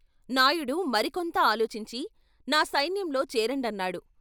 నాయుడు మరికొంత ఆలోచించి "నా సైన్యంలో చేరండన్నాడు.